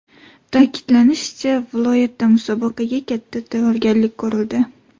Ta’kidlanishicha, viloyatda musobaqaga katta tayyorgarlik ko‘rildi.